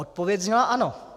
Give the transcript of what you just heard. Odpověď zněla ano.